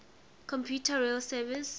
commuter rail service